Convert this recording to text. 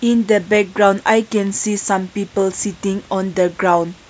in the background i can see some people sitting on the ground.